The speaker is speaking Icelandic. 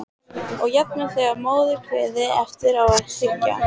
Og jafnvel þegar í móðurkviði- eftir á að hyggja.